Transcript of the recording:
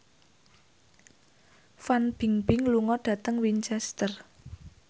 Fan Bingbing lunga dhateng Winchester